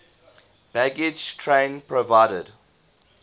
baggage train provided